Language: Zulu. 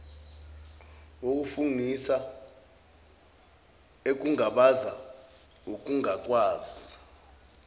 wokufungisa ekungabaza ukungakwazi